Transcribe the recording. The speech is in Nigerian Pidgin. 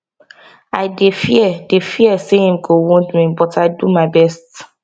i dey fear dey fear say im go wound me but i domy best